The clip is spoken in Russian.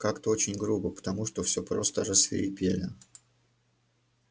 как-то очень грубо потому что всё просто рассвирепели